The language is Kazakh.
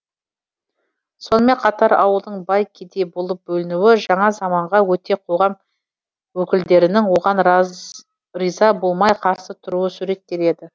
сонымен қатар ауылдың бай кедей болып бөлінуі жаңа заманға өткен қоғам өкілдерінің оған риза болмай қарсы тұруы суреттеледі